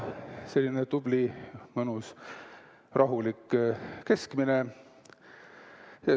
Selline tubli mõnus rahulik keskmine.